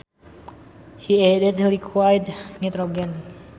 He added liquid nitrogen